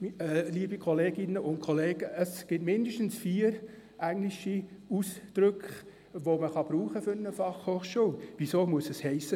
Liebe Kolleginnen und Kollegen, es gibt mindestens vier englische Ausdrücke, welche für eine Fachhochschule gebraucht werden können.